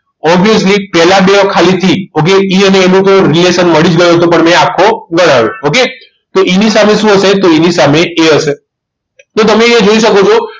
Obviously પહેલા બે ખાલી થી okayE અન A નું reaction મળ્યું જ ગયું છે પણ મેં આખો જ કરાવ્યો okay તો E સામે શું આવશે તો એની સામે A હશે તો તમે અહીંયા જોઈ શકો છો